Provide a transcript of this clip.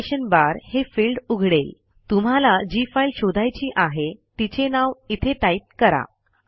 location bar हे field उघडेल तुम्हाला जी फाईल शोधायची आहे तिचे नाव इथे टाईप करा